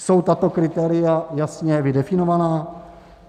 Jsou tato kritéria jasně vydefinovaná?